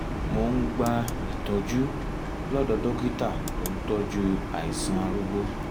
mo ń gba ìtọ́jú lọ́dọ̀ dókítà tó ń tọ́jú àìsàn arúgbó